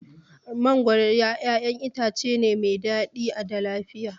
Mangoro ƴaƴan itace ne mai daɗi da lafiya.